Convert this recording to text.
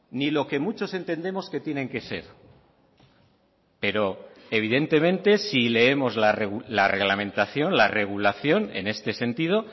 ni lo que muchos entendemos que tienen que ser pero evidentemente si leemos la reglamentación la regulación en este sentido